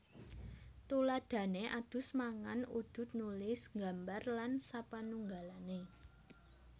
Tuladhané adus mangan udud nulis nggambar lan sapanunggalané